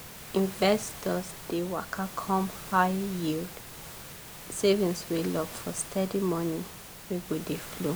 investors dey waka come high-yield savings wey lock for steady money wey go dey flow.